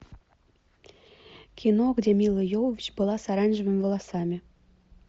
кино где мила йовович была с оранжевыми волосами